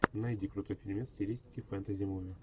найди крутой фильмец в стилистике фэнтези муви